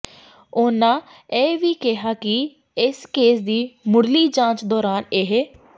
ਉਨਾਂ ਇਹ ਵੀ ਕਿਹਾ ਕਿ ਇਸ ਕੇਸ ਦੀ ਮੁਢਲੀ ਜਾਂਚ ਦੌਰਾਨ ਇਹ